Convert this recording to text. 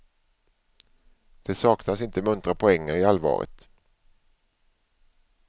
Det saknas inte muntra poänger i allvaret.